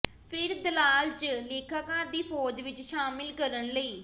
ਫਿਰ ਦਲਾਲ ਜ ਲੇਖਾਕਾਰ ਦੀ ਫ਼ੌਜ ਵਿਚ ਸ਼ਾਮਲ ਕਰਨ ਲਈ